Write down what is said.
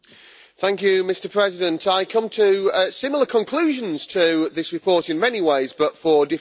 Mr President, I come to similar conclusions to this report in many ways, but for different reasons.